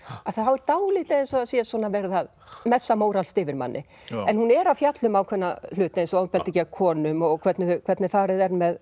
þá er dálítið eins og sé verið að messa móralskt yfir manni en hún er að fjalla um ákveðna hluti eins og ofbeldi gegn konum og hvernig hvernig farið er með